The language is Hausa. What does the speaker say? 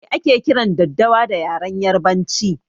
Me ake kiran daddawa da yaren yarbanci?